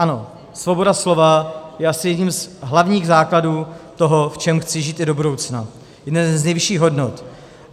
Ano, svoboda slova je asi jedním z hlavních základů toho, v čem chci žít i do budoucna, jedna z nejvyšších hodnot.